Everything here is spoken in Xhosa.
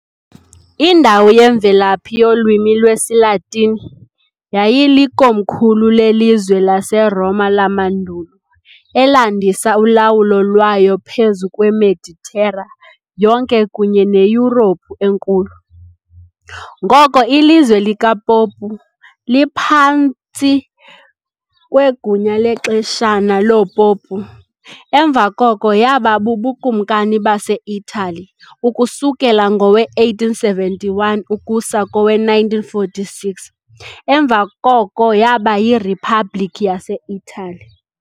Indawo yemvelaphi yolwimi lwesiLatini, yayilikomkhulu lelizwe laseRoma lamandulo, elandisa ulawulo lwayo phezu kweMeditera yonke kunye neYurophu enkulu, ngoko iLizwe likaPopu, liphantsi kwegunya lexeshana loopopu, emva koko yaba buBukumkani baseItali ukususela ngowe-1871 ukusa kowe-1946, emva koko yaba yiRiphabliki yaseItali.